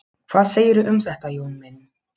Hvað segirðu um þetta, Jón minn?